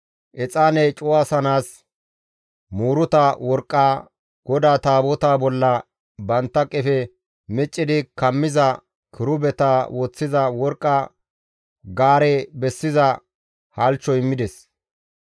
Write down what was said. exaane cuwasanaas muuruta worqqa, GODAA Taabotaa bolla bantta qefe miccidi kammiza kirubeta woththiza worqqa gaare bessiza halchcho immides.